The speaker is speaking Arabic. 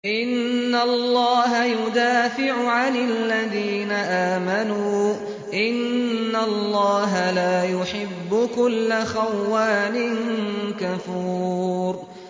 ۞ إِنَّ اللَّهَ يُدَافِعُ عَنِ الَّذِينَ آمَنُوا ۗ إِنَّ اللَّهَ لَا يُحِبُّ كُلَّ خَوَّانٍ كَفُورٍ